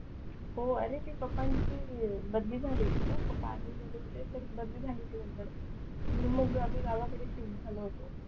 हो अरे ते पंपाची बदली झालेलीना पप्पा कुटून तर बदली झाली होती नंतर म्हणून मग आम्ही गावाकडे शिफ्ट झालो होतो